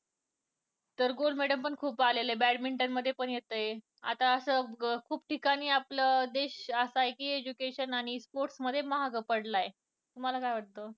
तर gold medal पण खूप आलेलं आहे badminton मध्ये पण येतंय आता असं खूप ठिकाणी आपला देश असा आहे कि education आणि sports मध्ये मागं पडलाय तुम्हाला काय वाटतं? हो मला पण वाटतं.